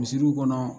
Misiriw kɔnɔ